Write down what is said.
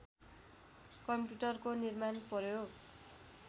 कम्प्युटरको निर्माण प्रयोग